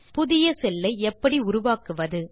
புதிய செல் ஐ எப்படி உருவாக்குவது